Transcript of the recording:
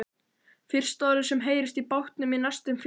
Fyrsta orðið sem heyrist í bátnum í næstum fjóra tíma.